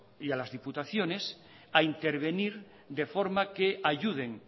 y a las diputaciones a intervenir de forma que ayuden